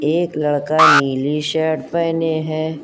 एक लड़का नीली शर्ट पहने हैं।